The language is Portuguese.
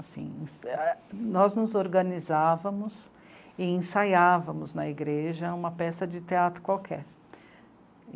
Assim, nós nos organizávamos e ensaiávamos na igreja uma peça de teatro qualquer.